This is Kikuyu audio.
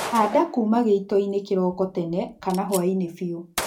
Handa kuma gĩitoinĩ kĩroko tene kana hwaiinĩ biũ